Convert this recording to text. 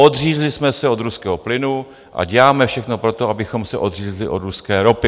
Odřízli jsme se od ruského plynu a děláme všechno pro to, abychom se odřízli od ruské ropy.